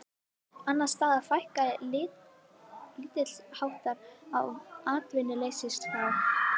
Annars staðar fækkaði lítilsháttar á atvinnuleysisskrá